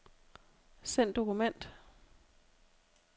Send dokument.